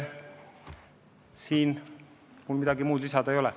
Siin mul midagi lisada ei ole.